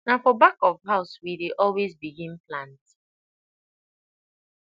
na for back of house we dey always begin plant